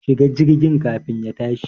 Shi ga jirgin kafin ya tashi